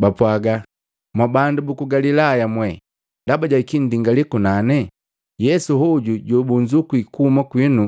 Bapwaaga, “Mwa bandu buku Galilaya mwee! Ndaba jaki nndingalii kunane? Yesu hoju jobunzukwi kuhuma kwinu